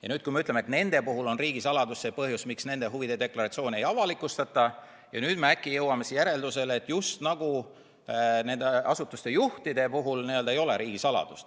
Ja kui me ütleme, et nende puhul on riigisaladus see põhjus, miks nende huvide deklaratsioone ei avalikustata, siis kuidas me nüüd äkki jõuame järeldusele, just nagu nende asutuste juhtide puhul ei kehti riigisaladus.